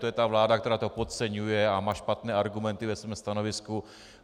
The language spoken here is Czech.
To je ta vláda, která to podceňuje a má špatné argumenty ve svém stanovisku.